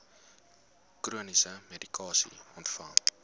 chroniese medikasie ontvang